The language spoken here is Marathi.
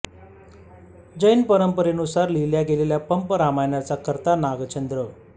जैन परंपरेनुसार लिहिल्या गेलेल्या पंप रामायणाचा कर्ता आहे नागचंद्र